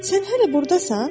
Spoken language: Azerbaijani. Sən hələ burdasan?